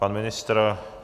Pan ministr?